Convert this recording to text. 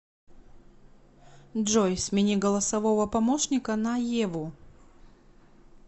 джой смени голосового помощника на еву